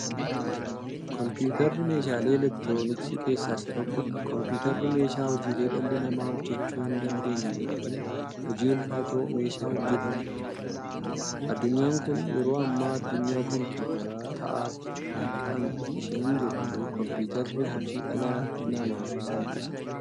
Kompuutarri meeshaalee elektirooniksii keessaa isa tokkodha. Kompuutarri meeshaa hojiilee dhalli namaa hojjachuu hindaandeenye yookiin hojii ulfaataa meeshaa hojjatamuudha. Addunyaan kun yeroo ammaa addunyaa compuutaraa ta'aat kan isheen jirtu. Compuutarri hojii dhala namaaf salphisa.